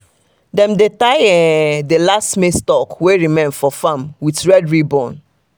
dem dey tie um the last maize stalk wey remain for farm with red ribbon